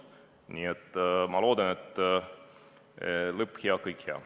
Nii et ma loodan, et lõpp hea, kõik hea.